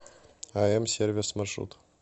ам сервис маршрут